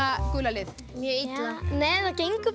gula lið mjög illa nei það gengur